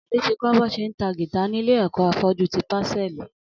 Ali ti kọ̀ bọ ṣé n tá gìtá nilé ẹkọ áfọ̀jù ti pásẹ̀lí